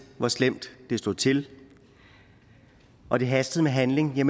hvor slemt det stod til og det hastede med handling har